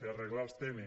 per arreglar els temes